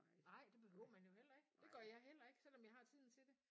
Nej det behøver man jo heller ikke det gør jeg heller ikke selvom jeg har tiden til det